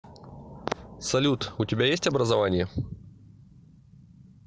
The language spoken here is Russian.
салют у тебя есть образование